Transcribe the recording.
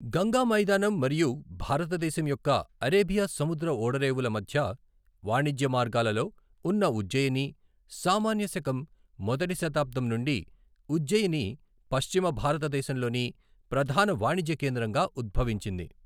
గంగా మైదానం మరియు భారతదేశం యొక్క అరేబియా సముద్ర ఓడరేవుల మధ్య వాణిజ్య మార్గాలలో ఉన్న ఉజ్జయిని, సామాన్య శకం మొదటి శతాబ్ధం నుండి ఉజ్జయిని పశ్చిమ భారతదేశంలోని ప్రధాన వాణిజ్య కేంద్రంగా ఉద్భవించింది.